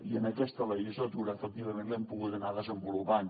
i en aquesta legislatura efectivament l’hem poguda anar desenvolupant